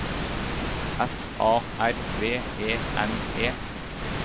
F A R V E N E